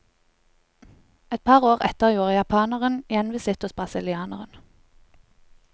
Et par år etter gjorde japaneren gjenvisitt hos brasilianeren.